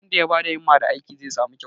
wanda ya ba da himma da aiki zai samu kyauta